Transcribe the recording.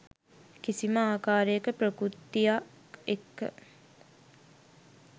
කිසිම ආකාරයක ප්‍රකෘතියක් එක්ක.